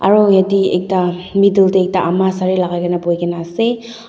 aro yatae ekta middle tae ekta ama sare lakaikaena boikaena ase.